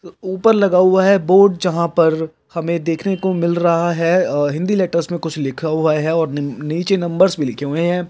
ऊपर लगा हुआ है बोर्ड जहाँ पर हमें देखने को मिल रहा है हिंदी लेटर्स कुछ लिखा हुआ है और निचे नंबर्स भी लिखे हुए है।